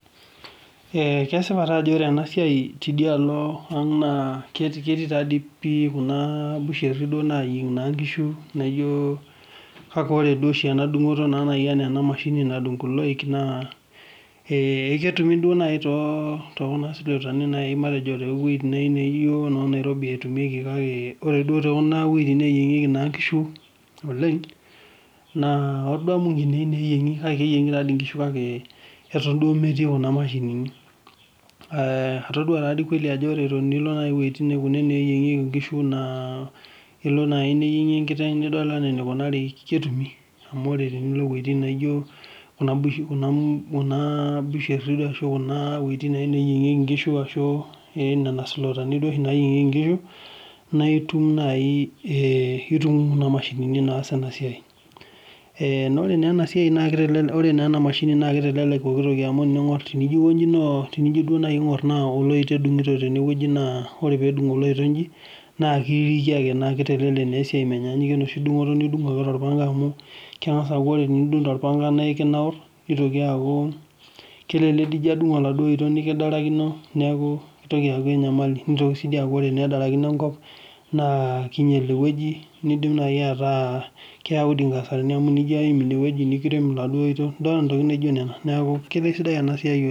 Kesipa taa ajo ore ena siai tedialo aang' naa ketiibtaa dei pii kuna busheri duo naanyieng' naa enkishu kake ore duo oshi ana dungoto naa nadung' kulo loik naa eketumi duo nai too kuna sulotani naake matejo noo Nairobi etumieki kake ore duo to kuna wuejitin nayieng'eki naa inkishu oleng naa adamu eyieng'i kake keyieng'i nkishu ake eton duo emetii kuna imashinini. Atodua taa dei keeli ajo ore etonilo naa wuejitin kuna neeying'eki inkishu naa ilo nai niyieng'ie enkiteng nidol anaa ketumi amu ore teneilo wuejitin naijo kuna busheri ashu wuejitin naa neeying'ieki inkishu ashu ake nena sulotani oshi naayieng'eki inkishu naa itum naii ,itum kuna imashinini naas ena siai. Naa ore naa ena siai, ore naa ena imashini naa keitelelek pooki toki amu eniyeu nijo duo naii ning'or naa kedung'uto teneweji naaa ore peedung' ale loito aikonji, naa keitelelek naa esiai, menyanyukie enoshi dung'oto nidung' ake amu kengas aaku tenidung' tolpanga naa ekinauru, neitoki aaku kelelek enino adung' enaduo iloito nikidarakino neaku eitoki aaku enyamali, neitoki sii ninche aaku ore enedarakink enkop naa keinyal ewueji neidim nai ataa keyau dii inkasarani amu enijo aim inewueji niim enaduo oito, ntokitin naijo nena naaku ijo kesidai ena siai oleng.